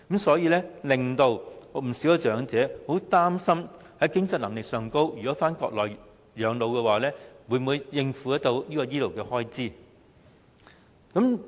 所以，不少長者都擔心如果返回內地養老，在經濟能力上不知能否應付醫療開支。